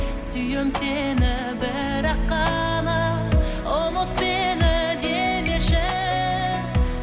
сүйем сені бірақ қана ұмыт мені демеші